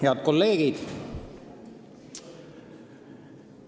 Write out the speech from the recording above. Head kolleegid!